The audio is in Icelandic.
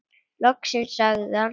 Loksins sagði hann.